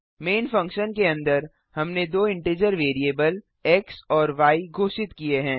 man function के अन्दर हमने दो इंटिजर वैरिएबल एक्स और य घोषित किए हैं